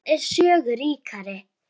Sjón er sögu ríkari.